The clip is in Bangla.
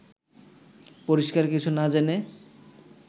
পরিষ্কার কিছু না জেনে